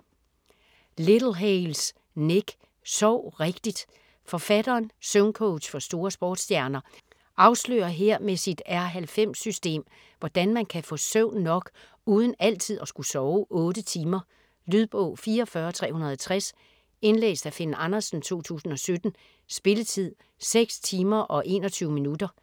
Littlehales, Nick: Sov rigtigt Forfatteren, søvncoach for store sportsstjerner, afslører her med sit R90-system, hvordan man kan få søvn nok uden altid at skulle sove 8 timer. Lydbog 44360 Indlæst af Finn Andersen, 2017. Spilletid: 6 timer, 21 minutter.